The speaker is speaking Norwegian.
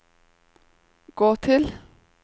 gå til